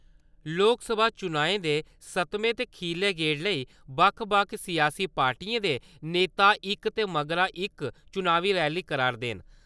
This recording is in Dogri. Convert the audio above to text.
लोकसभा चुनाएं दे सतमें ते खीरले गेड़ लेई बक्ख बक्ख सियासी पार्टियें दे नेता इक दे मगरा इक चुनावी रैली करै ‘रदे न।